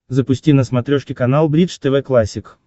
запусти на смотрешке канал бридж тв классик